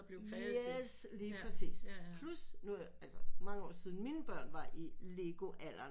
Yes lige præcis plus nu altså mange år siden mine børn var i lego alderen